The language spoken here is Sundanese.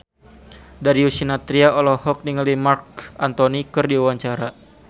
Darius Sinathrya olohok ningali Marc Anthony keur diwawancara